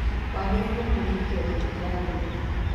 Wagĩrĩiro kũrigitwo thibitarĩ-inĩ.